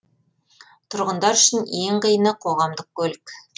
тұрғындар үшін ең қиыны қоғамдық көлік